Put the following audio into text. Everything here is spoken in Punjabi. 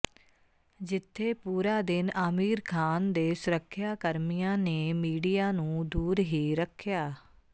ਜਿੱਥੇ ਪੂਰਾ ਦਿਨ ਆਮਿਰ ਖਾਨ ਦੇ ਸੁਰੱਖਿਆ ਕਰਮੀਆਂ ਨੇ ਮੀਡੀਆ ਨੂੰ ਦੂਰ ਹੀ ਰੱਖਿਆ